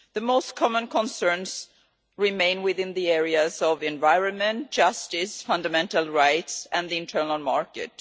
The most common concerns remain within the areas of the environment, justice, fundamental rights and the internal market.